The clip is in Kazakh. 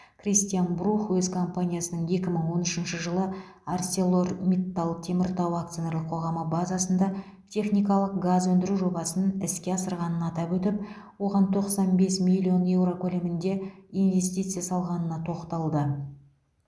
кристиан брух өз компаниясының екі мың он үшінші жылы арселор миттал теміртау акционерлік қоғамы базасында техникалық газ өндіру жобасын іске асырғанын атап өтіп оған тоқсан бес миллион еуро көлемінде инвестиция салғанына тоқталды